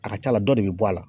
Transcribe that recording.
A ka ca la dɔ de bi bɔ a la.